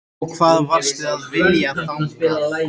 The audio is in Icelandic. Og hvað varstu að vilja þangað?